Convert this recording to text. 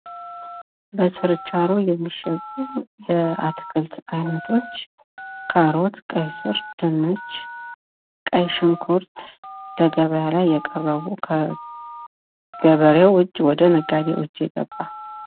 ለችርቻሮ የሚሸጡ የአትክልት አይነቶች ካሮት ፣ ቀይስር ፣ ድንች ፣ ቀይሽንኩርት በገበያ ላይ የቀረቡ ፤ ከገበሬው እጅ ወደ ነጋዴው እጅ የገባ